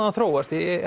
hann þróast